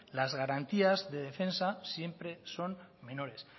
las garantías de defensa siempre son menores